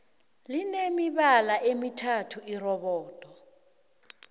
line mibala emithathu irobodo